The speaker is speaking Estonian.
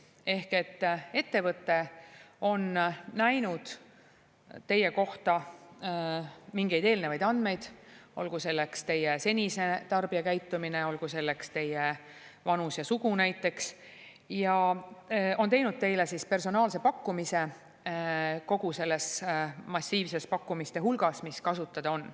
Ehk ettevõte on näinud teie kohta mingeid eelnevaid andmeid – olgu selleks teie senine tarbijakäitumine, olgu selleks teie vanus ja sugu – ja on teinud teile siis personaalse pakkumise kogu selles massiivses pakkumiste hulgas, mis kasutada on.